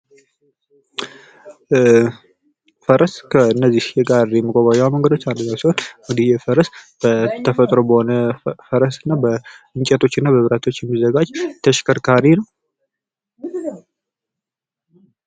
ፈረስ ከነዚህ የጋሪ መጓጓዣ መንገዶች አንድኛው ሲሆን እንግዲህ ይህ ፈረስ እንግዲህ የተፈጥሮ በሆነ ፈረስና በእንጨቶችና በብረቶች የሚዘጋጅ ተሽከርካሪ ነው።